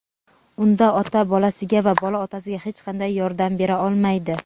unda ota bolasiga va bola otasiga hech qanday yordam bera olmaydi.